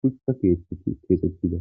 hutha keexettida